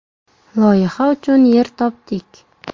Loyiha uchun yer topdik.